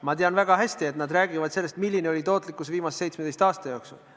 Ma tean väga hästi, et nad räägivad sellest, milline on tootlikkus olnud viimase 17 aasta jooksul.